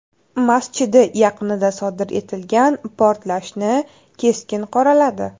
masjidi yaqinida sodir etilgan portlashni keskin qoraladi.